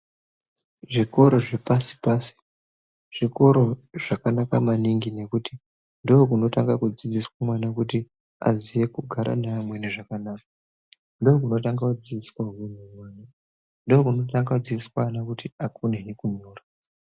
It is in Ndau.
Zvikoro zvepasi-pasi zvikoro zvakanaka maningi nekuti, ndokunotanga kudzidziswa mwana kuti aziye kugara neamweni zvakanaka, ndokunotanga kudzidziswa hunhu mwana, ndokunotanga kudzidziswa ana kuti akonehe kunyora.